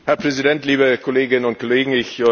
Herr Präsident, liebe Kolleginnen und Kollegen!